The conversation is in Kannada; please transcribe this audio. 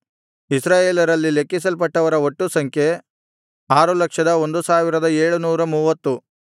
ಇಸ್ರಾಯೇಲರಲ್ಲಿ ಲೆಕ್ಕಿಸಲ್ಪಟ್ಟವರ ಒಟ್ಟು ಸಂಖ್ಯೆ 601730